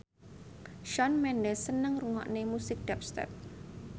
Shawn Mendes seneng ngrungokne musik dubstep